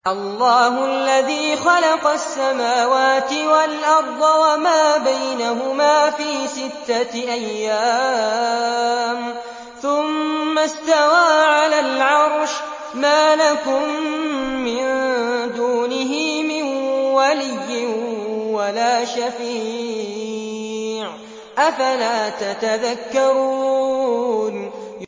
اللَّهُ الَّذِي خَلَقَ السَّمَاوَاتِ وَالْأَرْضَ وَمَا بَيْنَهُمَا فِي سِتَّةِ أَيَّامٍ ثُمَّ اسْتَوَىٰ عَلَى الْعَرْشِ ۖ مَا لَكُم مِّن دُونِهِ مِن وَلِيٍّ وَلَا شَفِيعٍ ۚ أَفَلَا تَتَذَكَّرُونَ